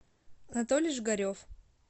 анатолий жигарев